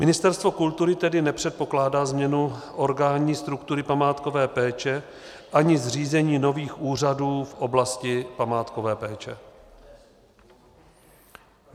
Ministerstvo kultury tedy nepředpokládá změnu originální struktury památkové péče ani zřízení nových úřadů v oblasti památkové péče.